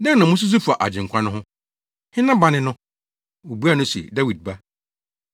“Dɛn na mususuw fa Agyenkwa no ho? Hena ba ne no?” Wobuaa no se, “Dawid Ba.”